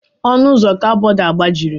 Ọnụ ụzọ kaboodu agbajiri.